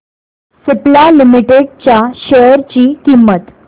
Cipla limited च्या share ची किंमत